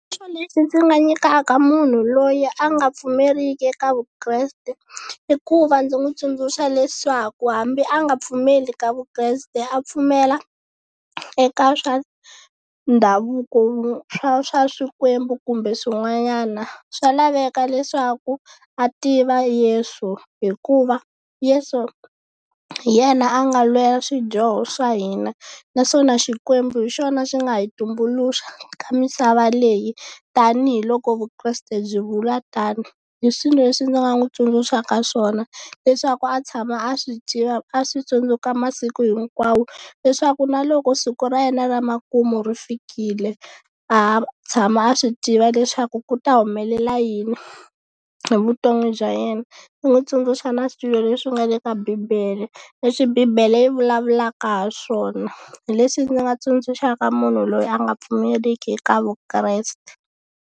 Xitsundzuxo lexi ndzi nga nyikaka munhu loyi a nga pfumeriki eka Vukreste, i ku va ndzi n'wi tsundzuxa leswaku hambi a nga pfumeli ka Vukreste a pfumela eka swa ndhavuko swa swa swikwembu kumbe swin'wanyana. Swa laveka leswaku a tiva Yeso hikuva Yeso hi yena a nga lwela swidyoho swa hina, naswona Xikwembu hi xona xi nga hi tumbuluxa ka misava leyi tanihiloko Vukreste byi vula tano. Hi swi leswi ndzi nga n'wi tsundzuxaka swona leswaku a tshama a swi tiva a swi tsundzuka masiku hinkwawo, leswaku na loko siku ra yena ra makumu ri fikile a tshama a swi tiva leswaku ku ta humelela yini hi vutomi bya yena. Ni n'wi tsundzuxa na swilo leswi nga le ka bibele, leswi bibele yi vulavulaka ha swona. Hi leswi ndzi nga tsundzuxaka munhu loyi a nga pfumeleliki eka Vukreste.